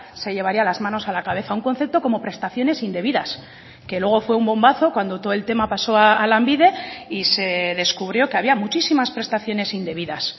se llevaría las manos a la cabeza un concepto como prestaciones indebidas que luego fue un bombazo cuando todo el tema pasó a lanbide y se descubrió que había muchísimas prestaciones indebidas